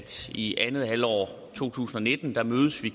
i andet halvår af to tusind og nitten mødes vi